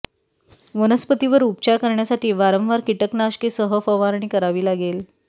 वनस्पतीवर उपचार करण्यासाठी वारंवार कीटकनाशके सह फवारणी करावी लागेल